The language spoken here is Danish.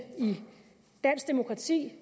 dansk demokrati